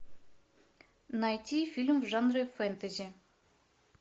найти фильм в жанре фэнтези